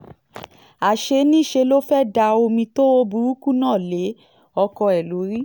àṣé niṣẹ́ ló fẹ́ẹ́ da omi tó hó burúkú náà lé ọkọ ẹ̀ lórí